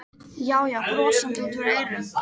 Já, já, brosandi út að eyrum!